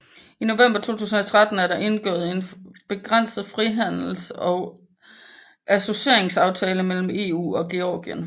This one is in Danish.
I November 2013 er der indgået en begrænset frihandles og associeringsaftale mellem EU og Georgien